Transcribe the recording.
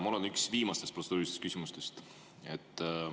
Mul on üks viimastest protseduurilistest küsimustest.